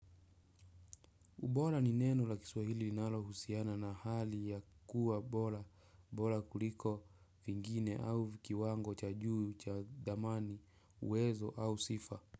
Ubora ni neno la kiswahili nalohusiana na hali ya kuwa bora, bora kuliko vingine au kiwango cha juu chadhamani uwezo au sifa.